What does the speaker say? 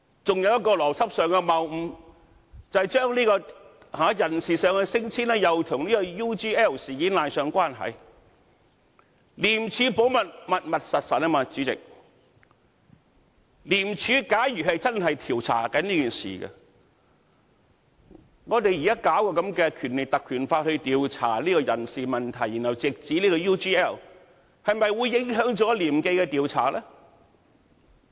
還有一個邏輯上的謬誤，將人事上的升遷與 UGL 事件扯上關係，"廉署保密，密密實實"，主席，廉署假如真的正在調查此事，我們現在引用《條例》來調查人事問題，然後直指 UGL 事件，是否會影響廉署的調查呢？